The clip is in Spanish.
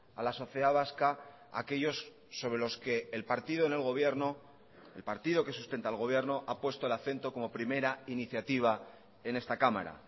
a la sociedad vasca aquellos sobre los que el partido en el gobierno el partido que sustenta al gobierno ha puesto el acento como primera iniciativa en esta cámara